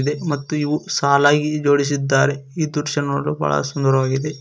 ಇಲ್ಲಿ ಮತ್ತು ಇವು ಸಾಲಾಗಿ ಜೋಡಿಸಿದ್ದಾರೆ ಈ ದೃಶ್ಯ ನೋಡಲು ಬಹಳ ಸುಂದರವಾಗಿದೆ.